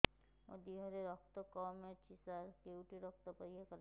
ମୋ ଦିହରେ ରକ୍ତ କମି ଅଛି ସାର କେଉଁଠି ରକ୍ତ ପରୀକ୍ଷା କରାଯାଏ